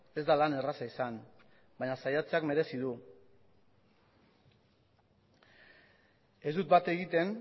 ez da lan erraza izan baina saiatzeak merezi du ez dut bat egiten